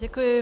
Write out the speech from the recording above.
Děkuji.